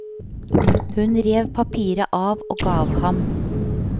Hun rev papiret av og gav ham.